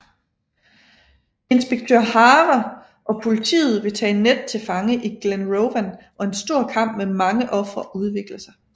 Inspektør Hare og politiet vil tage Ned til fange i Glenrowan og en stor kamp med mange ofre udvikler sig